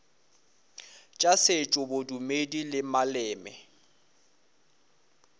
tša setšo bodumedi le maleme